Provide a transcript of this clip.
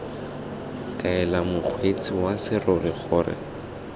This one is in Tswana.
kaela mokgweetsi wa serori gore